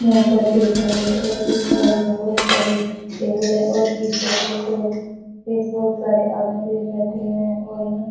यहां पर एक हॉल है और इस हॉल में बहुत सारे टेबुल है और इस टेबुल पे बहुत सारे आदमी भी बैठे हुए हैं और यहां --